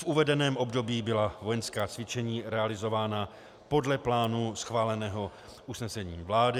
V uvedeném období byla vojenská cvičení realizována podle plánu schváleného usnesením vlády.